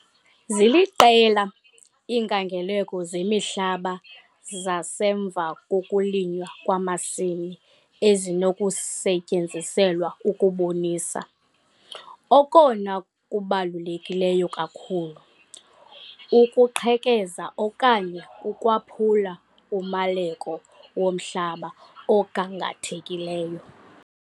Ziliqela iinkangeleko zemihlaba zasemva kokulinywa kwamasimi ezinokusetyenziselwa ukubonisa, okona kubaluleke kakhulu, ukuqhekeza okanye ukwaphula umaleko womhlaba ogangathekileyo.